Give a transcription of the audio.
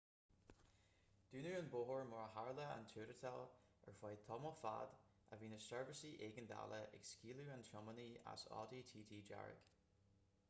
dúnadh an bóthar mar ar tharla an tuairteáil ar feadh tamaill fad a bhí na seirbhísí éigeandála ag scaoileadh an tiománaí as audi tt dearg